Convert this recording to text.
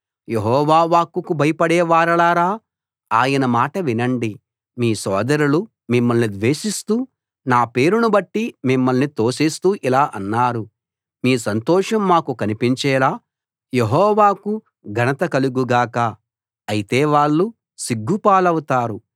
యెహోవా వాక్కుకు భయపడే వారలారా ఆయన మాట వినండి మీ సోదరులు మిమ్మల్ని ద్వేషిస్తూ నా పేరును బట్టి మిమ్మల్ని తోసేస్తూ ఇలా అన్నారు మీ సంతోషం మాకు కనిపించేలా యెహోవాకు ఘనత కలుగు గాక అయితే వాళ్ళు సిగ్గు పాలవుతారు